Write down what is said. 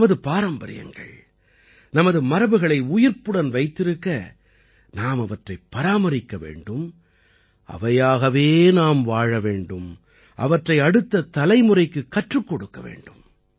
நமது பாரம்பரியங்கள் நமது மரபுகளை உயிர்ப்புடன் வைத்திருக்க நாம் அவற்றைப் பராமரிக்க வேண்டும் அவையாகவே நாம் வாழ வேண்டும் அவற்றை அடுத்த தலைமுறைக்குக் கற்றுக் கொடுக்க வேண்டும்